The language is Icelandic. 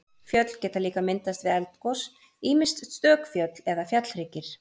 Fjöll geta líka myndast við eldgos, ýmist stök fjöll eða fjallhryggir.